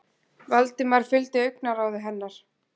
Valdimar fylgdi augnaráði hennar.